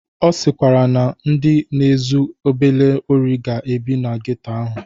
Ọ sịkwara na ndị na-ezu obele ori ga-ebi na geto ahụ